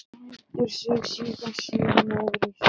Lætur sig síðan síga niður í sætið.